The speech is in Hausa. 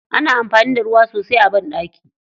Ana amfani da ruwa sosai a banɗaki.